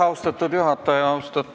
Austatud juhataja!